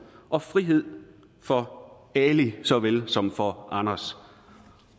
og frihed for ali såvel som får anders